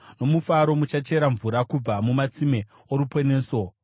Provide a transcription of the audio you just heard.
Nomufaro muchachera mvura kubva mumatsime oruponeso.